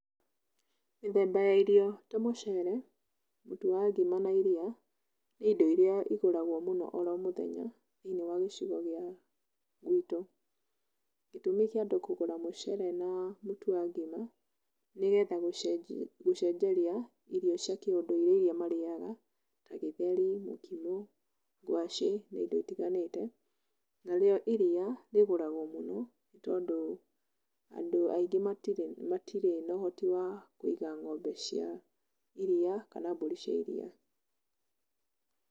Mĩthemba ya irio ta mũcere, mũtu wa ngima na iria, nĩ indo iria igũragwo mũno oro mũthenya thĩinĩ wa gĩcigo gĩa gwitũ. Gĩtũmi kĩa andũ kũgũra mũcere na mũtu wa ngima, nĩgetha gũcenjeria irio cia kĩ ũndũire iria marĩaga ta: gĩtheri, mũkimo, ngwacĩ na indo itiganĩte. Narĩo iria rĩgũragwo mũno tondũ andũ aingĩ matirĩ, matirĩ na ũhoti wa kũiga ng'ombe cia iria kana mbũri cia iria.